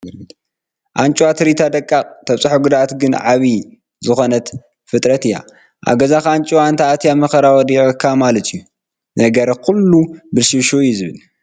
ኣንጭዋ ንትርኢታ ደቃቕ ተብፅሖ ጉድኣት ግን ዓብዪ ዝኾነት ፍጥረት እያ፡፡ ኣብ ገዛኻ ኣንጭዋ እንተኣትያ ወከራ ወዲቑካ ማለት እዩ፡፡ ነገር ኩሉ ብልሽውሽው እዩ ዝብል፡፡